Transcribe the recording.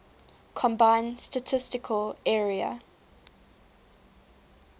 combined statistical area